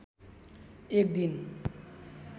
एक दिन